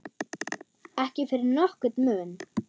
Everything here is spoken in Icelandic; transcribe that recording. Ekki fyrir nokkurn mun.